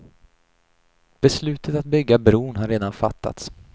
Beslutet att bygga bron har redan fattats.